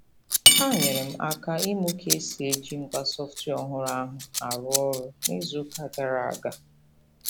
Ha nyeere m aka ịmụ ka e si eji ngwa sọftwịa ọhụrụ ahụ arụ ọrụ n'izuụka gara aga.